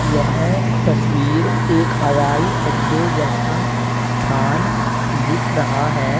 यह तस्वीर एक हवाई अड्डे जैसा स्थान दिख रहा है।